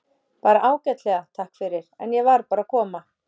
Bara ágætlega, takk fyrir, en ég var bara að koma.